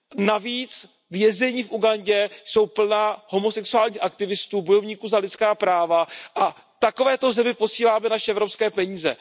Navíc vězení v Ugandě jsou plná homosexuálních aktivistů, bojovníků za lidská práva a takovéto zemi posíláme naše evropské peníze.